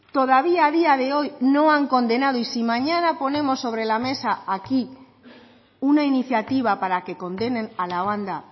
todavía a día de hoy no han condenado y si mañana ponemos sobre la mesa aquí una iniciativa para que condenen a la banda